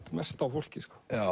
mest á fólki